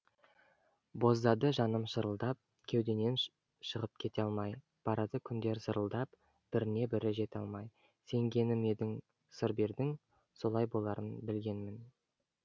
боздады жаным шырылдап кеудемнен шығып кете алмай барады күндер зырылдап біріне бірі жете алмай сенгенім едің сыр бердің солай боларын білгенмін